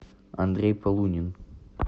андрей полунин